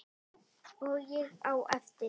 Og ég á eftir.